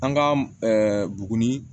An ka bugunin